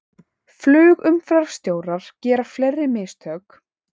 Flugumferðarstjórar gera fleiri mistök